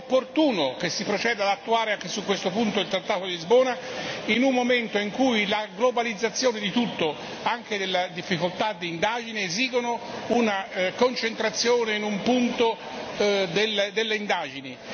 È opportuno che si proceda ad attuare anche su questo punto il trattato di Lisbona, in un momento in cui la globalizzazione di tutto, anche della difficoltà d'indagine, esige una concentrazione in un punto delle indagini.